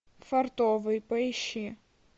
фартовый поищи